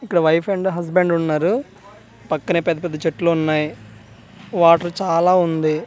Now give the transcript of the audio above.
ఇక్కడ wife and husband ఉన్నారు పక్కనే పెద్ద పెద్ద చెట్లు ఉన్నాయ్ వాటర్ చాలా ఉంది .